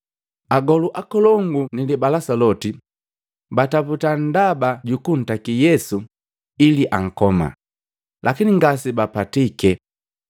Agolu akolongu ni libalasa loti bataputa ndaba jukuntaki Yesu ili ankoma, lakini ngase bapatike.